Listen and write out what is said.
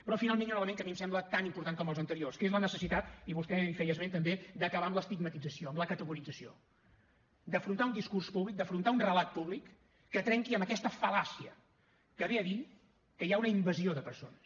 però finalment hi ha un element que a mi em sembla tan important com els anteriors que és la necessitat i vostè en feia esment també d’acabar amb l’estigmatització amb la categorització d’afrontar un discurs públic d’afrontar un relat públic que trenqui amb aquesta fal·làcia que ve a dir que hi ha una invasió de persones